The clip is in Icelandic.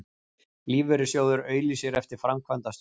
Lífeyrissjóður auglýsir eftir framkvæmdastjóra